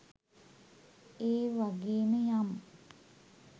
ඒවගේම යම්